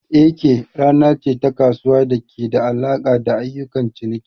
Eke rana ce ta kasuwa da ke da alaƙa da ayyukan ciniki.